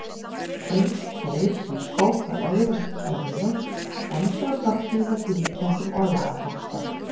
Eins þeir sem skópu öðrum örlög, dæmdu og drottnuðu, með klíputöngum og lagabókstaf.